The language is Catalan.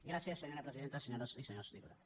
gràcies senyora presidenta senyores i senyors diputats